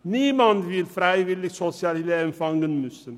Niemand will freiwillig Sozialhilfe empfangen müssen.